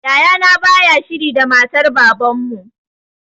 Yaya na baya shiri da matar baban mu